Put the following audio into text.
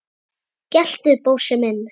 geltu, Bósi minn!